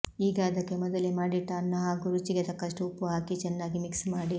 ಈಗ ಅದಕ್ಕೆ ಮೊದಲೇ ಮಾಡಿಟ್ಟ ಅನ್ನ ಹಾಗೂ ರುಚಿಗೆ ತಕ್ಕಷ್ಟು ಉಪ್ಪು ಹಾಕಿ ಚೆನ್ನಾಗಿ ಮಿಕ್ಸ್ ಮಾಡಿ